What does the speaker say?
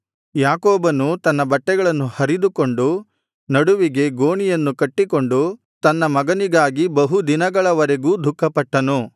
ಯಾಕೋಬನು ತನ್ನ ಬಟ್ಟೆಗಳನ್ನು ಹರಿದುಕೊಂಡು ನಡುವಿಗೆ ಗೋಣಿಯನ್ನು ಕಟ್ಟಿಕೊಂಡು ತನ್ನ ಮಗನಿಗಾಗಿ ಬಹು ದಿನಗಳವರೆಗೂ ದುಃಖಪಟ್ಟನು